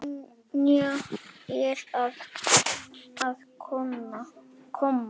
Sonja er að koma.